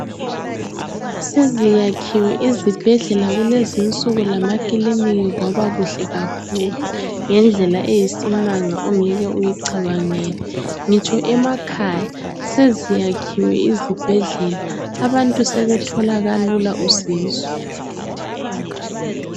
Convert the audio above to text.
Seziyakhiwe izibhedlela kulezi insuku lama kiliniki kwabakuhle kakhulu ngendlela eyisimanga ongeke uyicabangele. Ngitsho emakhaya seziyakhiwe izibhedlela abantu sebethola kalula usizo.